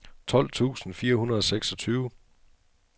tolv tusind fire hundrede og seksogtyve